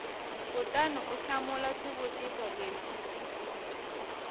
kutani u hlamula swivutiso leswi